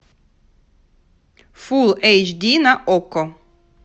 фулл эйч ди на окко